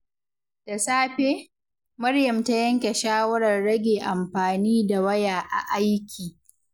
Da safe, Maryam ta yanke shawarar rage amfani da waya a aiki.